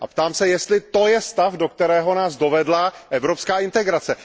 A ptám se, jestli to je stav, do kterého nás dovedla evropská integrace.